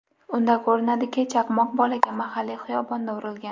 Unda ko‘rinadiki, chaqmoq bolaga mahalliy xiyobonda urilgan.